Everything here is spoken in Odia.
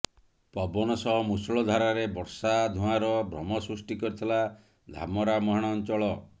ପବନ ସହ ମୂଷଳ ଧାରାରେ ବର୍ଷା ଧୂଆଁର ଭ୍ରମ ସୃଷ୍ଟି କରିଥିଲା ଧାମରା ମୁହାଣ ଅଞ୍ଚଳ